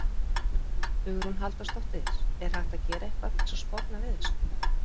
Hugrún Halldórsdóttir: Er hægt að gera eitthvað til að sporna við þessu?